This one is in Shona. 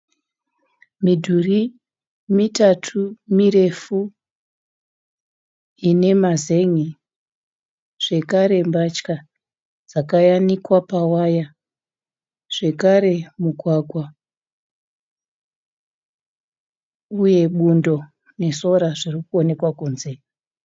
Midhuri mitatu mirefu ine mazen'e zvekare mbatya dzakayanikwa pawaya zvekare mugwagwa uye bundo nesora zvirikuoneka kunze.